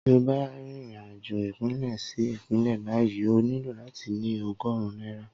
Tí o bá n rìnrìn-àjò ìpínlẹ̀ sí ìpínlẹ̀ báyìí o nílò láti ní ogórùn náírà